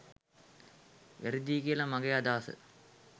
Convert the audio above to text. වැරදියි කියලයි මගෙ අදහස.